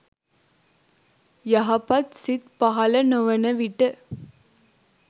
යහපත් සිත් පහළ නොවන විට